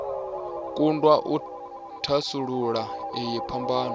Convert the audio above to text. kundwa u thasulula iyi phambano